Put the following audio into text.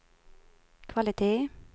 kvalitet